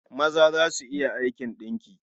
Maza za su iya aikin ɗinki.